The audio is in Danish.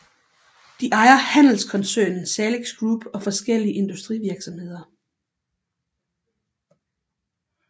De ejer handelskoncernen Salix Group og forskellige industrivirksomheder